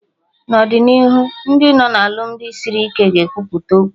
N'ọdịnihu Ndị nọ na alụmdi sịrị ike ga ekwupụta okwu